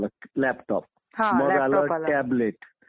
असं मला वाटतंय आणि ते सत्य ही आहे